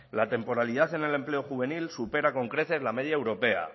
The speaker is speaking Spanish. la temporalidad en el empleo juvenil supera con creces la media europea